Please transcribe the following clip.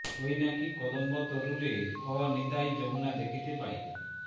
ঐ নাকি কদম্ব তরুরে অ নিতাই যমুনা দেখিতে পাই